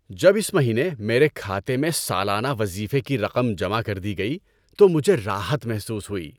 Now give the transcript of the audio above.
جب اس مہینے میرے کھاتے میں سالانہ وظیفے کی رقم جمع کر دی گئی تو مجھے راحت محسوس ہوئی۔